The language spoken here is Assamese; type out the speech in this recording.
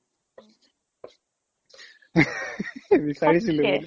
বিচাৰিছিলো